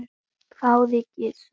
hváði Gizur.